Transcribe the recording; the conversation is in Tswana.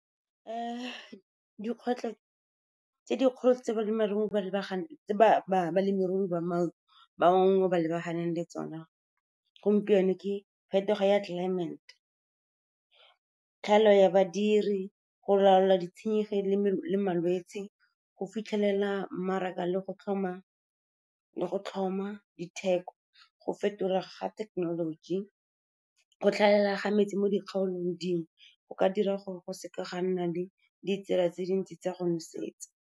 Dikgwetlho tse dikgolo tse balemirui ba bangwe ba lebaganeng le tsona gompieno ke phetogo ya tlelaemete, tlhaelo ya badiri, go laola le malwetse, go fitlhelela mmaraka le go tlhoma ditheko, go fetolwa ga thekenoloji, go tlhaela ga metsi mo dikgaolong dingwe, go ka dira gore go seka ga nna le ditsela tse dintsi tsa go nosetsa.